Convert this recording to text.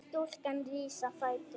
Stúlkan rís á fætur.